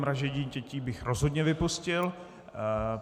Mražení dětí bych rozhodně vypustil.